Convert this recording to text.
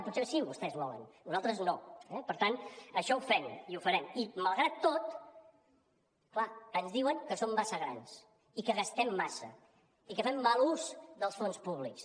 potser sí que vostès ho volen nosaltres no eh per tant això ho fem i ho farem i malgrat tot clar ens diuen que som massa grans i que gastem massa i que fem mal ús dels fons públics